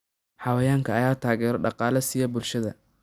Xayawaankan ayaa taageero dhaqaale siiya bulshada.